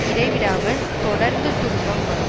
இடைவிடாமல் தொடர்ந்து துன்பம் வரும்